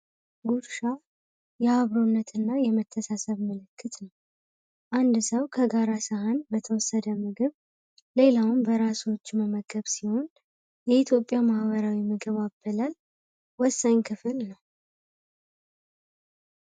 ውሻ የአብሮነትና የመተሳሰብ ነው አንድ ሰው ከጋራ ሳይሆን በተወሰደ ምግብ ሌላውም በራሱ መመገብ ሲሆን የኢትዮጵያ ማህበራዊ ምግብ አበላል ክፍል ነው